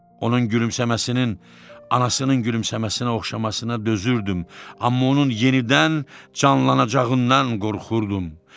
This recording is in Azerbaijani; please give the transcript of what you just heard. Onun gülümşəməsinin, anasının gülümşəməsinə oxşamasına dözürdüm, amma onun yenidən canlanacağından qorxurdum.